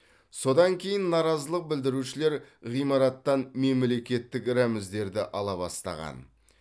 содан кейін наразылық білдірушілер ғимараттан мемлекеттік рәміздерді ала бастаған